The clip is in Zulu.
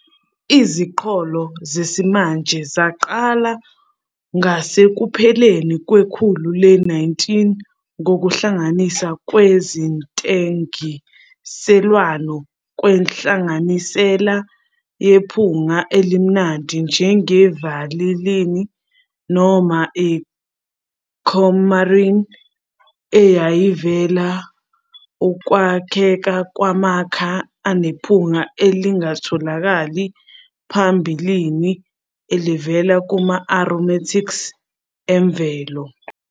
Iziqholo zesimanje zaqala ngasekupheleni kwekhulu le-19 ngokuhlanganiswa kwezentengiselwano kwenhlanganisela yephunga elimnandi njenge-vanillin noma i-coumarin, eyayivumela ukwakheka kwamakha anephunga elalingatholakali ngaphambilini elivela kuma-aromatics emvelo.